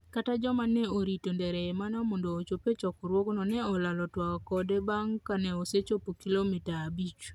kata joma ne orito Ndereyimana mondo ochop e chokruogno ne olalo twak kode bang' kaneosechopo kilomita abich